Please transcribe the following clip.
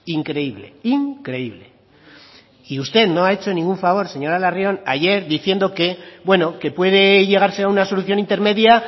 increíble increíble y usted no ha hecho ningún favor señora larrion ayer diciendo que bueno que puede llegarse a una solución intermedia